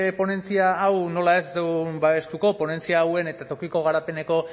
ponentzia hau nola ez babestuko dugu ponentzia hauen eta tokiko garapeneko